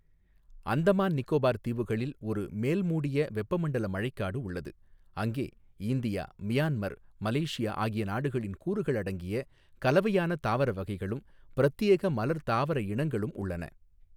அந்தமான் நிகோபார் தீவுகளில் ஒரு மேல்மூடிய வெப்பமண்டல மழைக்காடு உள்ளது, அங்கே இந்தியா, மியான்மர், மலேசியா ஆகிய நாடுகளின் கூறுகள் அடங்கிய கலவையான தாவர வகைளும், பிரத்யேக மலர்த் தாவர இனங்களும் உள்ளன.